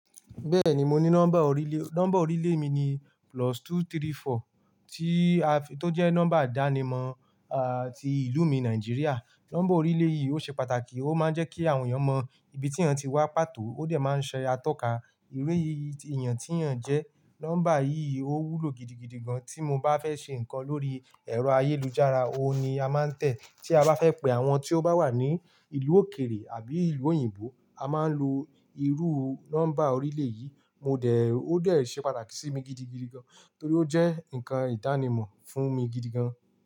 Bẹ́ẹ̀ni, mo ní nọ́mbà orílè. Nọ́mbà orílè mi ni plus two three four tí, tó jẹ́ nọ́mbà ìdánimọ̀, ti ìlú mi Nigeria. Nọ́mbà orílè yìí ó ṣe pàtàkì, ó máa ń jẹ́ kí àwọn èèyàn mọ ibi tí èèyàn ti wá pàtó, ó dẹ̀ máa ń ṣe atọ́ka irú yì èèyàn tí èèyàn jẹ́. Nọ́mbà yìí ó wúlò gidigidi gan, tí mo bá fẹ́ ṣe nǹkan lórí ẹ̀rọ ayélujára, òun ni a máa ń tẹ̀. Tí a bá fẹ́ pe àwọn tí ó bá wà ní ìlú òkèrè àbí ìlú òyìnbó, a máa ń lo irú nọ́mbà orílè yìí. Mo dẹ̀, ó dẹ̀ ṣe pàtàkì sí mi gidigidi gan, torí ó jẹ́ nǹkan ìdánimọ̀ fún mi gidigan.